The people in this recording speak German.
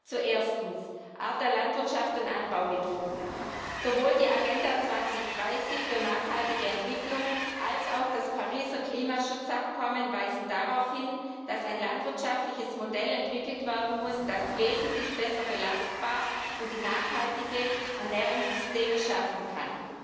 Zu Erstens Art der Landwirtschaft und Anbaumethoden Sowohl die Agenda 2030 für nachhaltige Entwicklung als auch das Pariser Klimaschutzabkommen weisen darauf hin, dass ein landwirtschaftliches Modell entwickelt werden muss, das wesentlich besser belastbar ist und nachhaltige Ernährungssysteme schaffen kann.